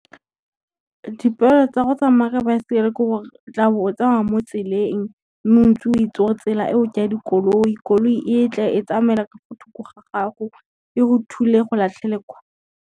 Dipoelo tsa go tsamaya ka baesekele ke gore, o tla bo o tsamaya mo tseleng mme o ntse o e itsi tsela eo ke ya dikoloi, koloi e tle e tsamaela ka mo thoko ga gago, e go thule e go latlhele kwa.